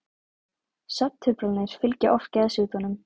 svefntruflanir fylgja oft geðsjúkdómum